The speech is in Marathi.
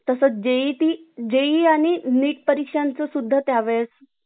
तसं JET , JEE आणि NEET परीक्षांच्या सुद्धा त्यावेळेस